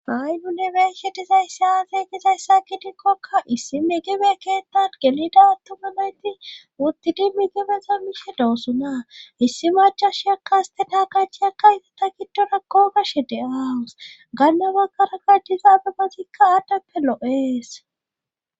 ha7i nu ne beeshe dizayssi aaze gizayssa gidikkokka issi migibe keettan gelida attuma noyti wuttidi migibezo mihe doossonaa issi macha shiyakkaaste taakachiyakka ita ta giddora koogashe de7awus gannabaggara gaydizaabebazikka aaddappe lo7ees